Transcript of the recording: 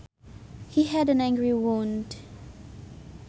He had an angry wound